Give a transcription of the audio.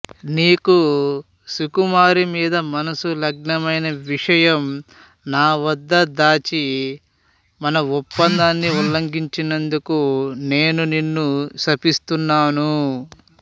నీకు సుకుమారి మీద మనసు లగ్నమైన విషయం నా వద్ద దాచి మనఒప్పందాన్ని ఉల్లంఘించినందుకు నేను నిన్ను శపిస్తున్నాను